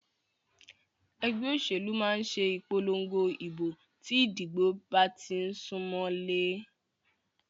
Ẹgbẹ́ òṣèlú máà ṣe ìpòlongo ìbò tí ìdìbò bá tí ń sún mọlé.